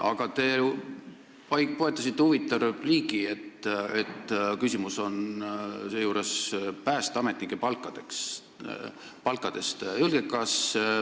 Aga te poetasite huvitava repliigi, et küsimus on seejuures päästeametnike palgas.